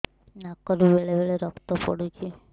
ନାକରୁ ବେଳେ ବେଳେ ରକ୍ତ ପଡୁଛି